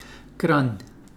Kranj.